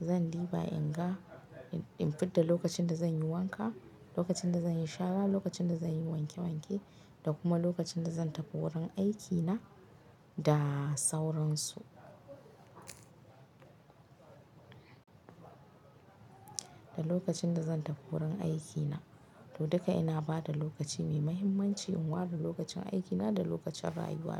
zan ɗiba in ga, in fidda lokacin da zan yi wanka, lokacin da zan yi shara, lokacin da zan yi wanke wanke da kuma lokacin da zan tafi wurin aikina da sauransu. Da lokacin da zan tafi wurin aikina, to duka ina ba da lokaci mai muhimmanci in ware lokacin aikina da lokacin rayuwa na.